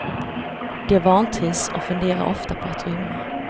De vantrivs och funderar ofta på att rymma.